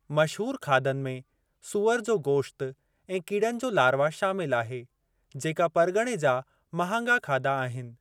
मशहूर खाधनि में सूअर जो गोश्त ऐं कीड़नि जो लारवा शामिलु आहे जेका परगि॒णे जा महांगा खाधा आहिनि।